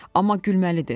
Amma gülməlidir.